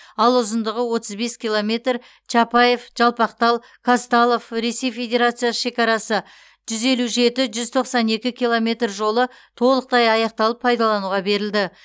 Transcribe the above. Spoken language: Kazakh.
ал ұзындығы отыз бес километр чапаев жалпақтал қазталов ресей федерациясы шекарасы жүз елу жеті жүз тоқсан екі километр жолы толықтай аяқталып пайдалануға берілді